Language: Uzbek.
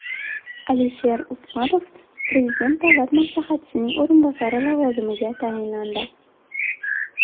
Alisher Usmanov Prezident Davlat maslahatchisining o‘rinbosari lavozimiga tayinlandi.